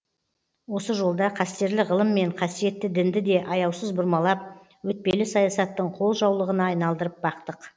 осы жолда қастерлі ғылым мен қасиетті дінді де аяусыз бұрмалап өтпелі саясаттың қолжаулығына айналдырып бақтық